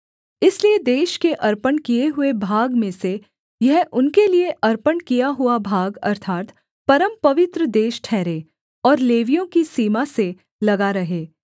इसलिए देश के अर्पण किए हुए भाग में से यह उनके लिये अर्पण किया हुआ भाग अर्थात् परमपवित्र देश ठहरे और लेवियों की सीमा से लगा रहे